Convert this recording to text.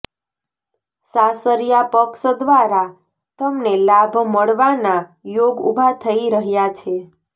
સાસરિયા પક્ષ દ્વારા તમને લાભ મળવાના યોગ ઉભા થઇ રહ્યા છે